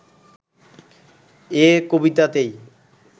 এ কবিতাতেই